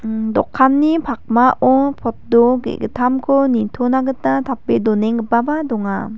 imm dokani pakmao poto ge·gittamko nitona gita tape donenggipaba donga.